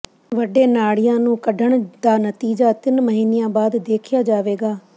ਵੱਡੇ ਨਾੜੀਆਂ ਨੂੰ ਕੱਢਣ ਦਾ ਨਤੀਜਾ ਤਿੰਨ ਮਹੀਨਿਆਂ ਬਾਅਦ ਦੇਖਿਆ ਜਾਵੇਗਾ